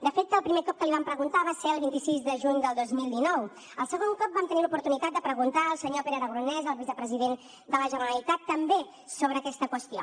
de fet el primer cop que li vam preguntar va ser el vint sis de juny del dos mil dinou el segon cop vam tenir l’oportunitat de preguntar al senyor pere aragonès al vicepresident de la generalitat també sobre aquesta qüestió